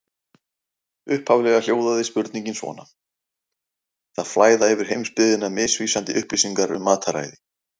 Upphaflega hljóðaði spurningin svona: Það flæða yfir heimsbyggðina misvísandi upplýsingar um mataræði.